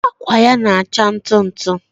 akwa ya na-acha ntụ ntụ.